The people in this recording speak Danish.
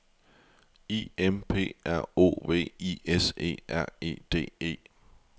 I M P R O V I S E R E D E